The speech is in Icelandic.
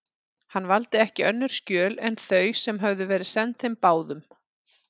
Hann valdi ekki önnur skjöl en þau, sem höfðu verið send þeim báðum.